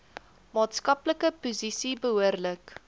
maatskaplike posisie behoorlik